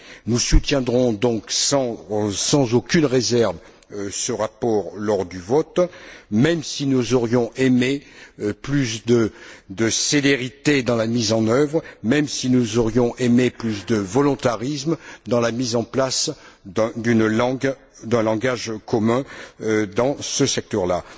Nous soutiendrons donc sans aucune réserve ce rapport lors du vote, même si nous aurions aimé plus de célérité dans la mise en œuvre, même si nous aurions aimé plus de volontarisme dans la mise en place d'un langage commun dans ce secteur là.